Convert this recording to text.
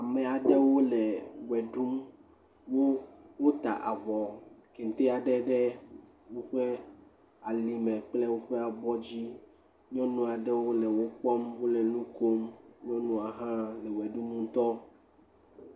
Ame aɖewo le ʋe ɖum. Woda avɔ, kente aɖe ɖe woƒe alime kpakple woƒe abɔ dzi. Nyɔnu aɖewo le wokpɔm, wole nukom. Nyɔnu aɖe hã le ʋe ɖum ŋutɔ.